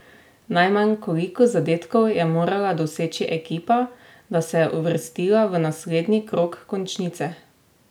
Najmanj koliko zadetkov je morala doseči ekipa, da se je uvrstila v naslednji krog končnice?